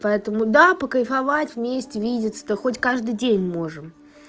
поэтому до покайфовать вместе видеться да хоть каждый день можем